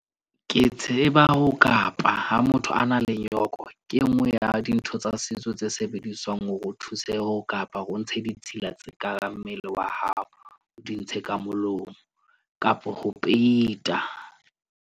Ke tseba ho kapa ha motho a nang le nyoko. Ke enngwe ya dintho tsa setso tse sebediswang. Hore o thuseho kapa hore o ntshe ditshila tse kareng, mmele wa hao o di ntshe ka molomo kapa ho peita.